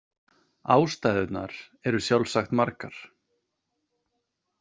Ástæðurnar eru sjálfsagt margar.